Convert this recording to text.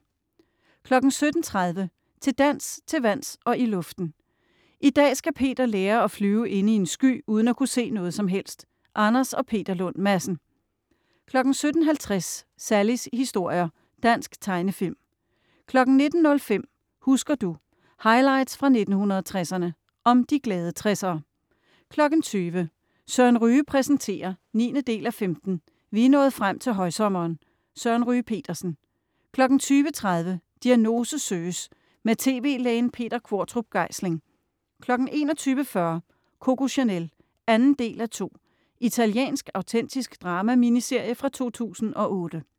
17.30 Til dans, til vands og i luften. I dag skal Peter lære at flyve inde i en sky uden at kunne se noget som helst. Anders & Peter Lund Madsen 17.50 Sallies historier. Dansk tegnefilm 19.05 Husker du? Highlights fra 1960'erne. Om "De glade 60'ere" 20.00 Søren Ryge præsenterer 9:15. Vi er nået frem til højsommeren. Søren Ryge Petersen 20.30 Diagnose søges. Med tv-lægen Peter Qvortrup Geisling 21.40 Coco Chanel. 2:2 Italiensk autentisk drama-miniserie fra 2008